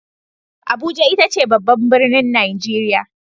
Abuja ita ce babban birnin Nigeria.